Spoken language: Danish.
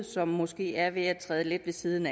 som måske er ved at træde lidt ved siden